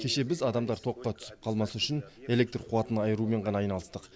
кеше біз адамдар тоққа түсіп қалмас үшін электр қуатын айырумен ғана айналыстық